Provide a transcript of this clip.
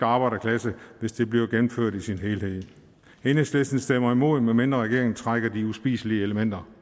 arbejderklasse hvis det bliver gennemført i sin helhed enhedslisten stemmer imod medmindre regeringen trækker de uspiselige elementer